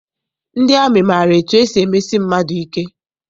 Ndị amị maara etu esi emesi mmadụ ike.